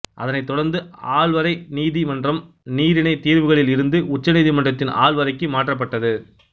அதனைத் தொடர்ந்து ஆள்வரை நீதி மன்றம் நீரிணை தீர்வுகளில் இருந்து உச்ச நீதிமன்றத்தின் ஆள்வரைக்கு மாற்றப்பட்டது